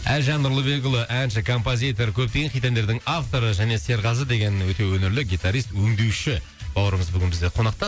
әлжан нұрлыбекұлы әнші композитор көптеген хит әндердің авторы және серғазы деген өте өнерлі гитарист өңдеуші бауырымыз бүгін бізде қонақта